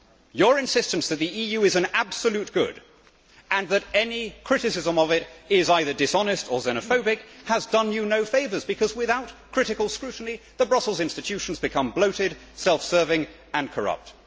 Your insistence that the EU is an absolute good and that any criticism of it is either dishonest or xenophobic has done you no favours, because without critical scrutiny the Brussels institutions become bloated, self serving and corrupt.